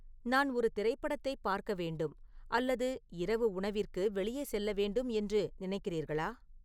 நான் ஒரு திரைப்படத்தைப் பார்க்க வேண்டும் அல்லது இரவு உணவிற்கு வெளியே செல்ல வேண்டும் என்று நினைக்கிறீர்களா